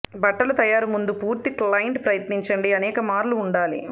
బట్టలు తయారు ముందు పూర్తి క్లయింట్ ప్రయత్నించండి అనేక మార్లు ఉండాలి